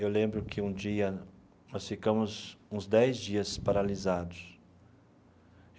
Eu lembro que um dia, nós ficamos uns dez dias paralisados.